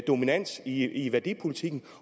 dominans i i værdipolitikken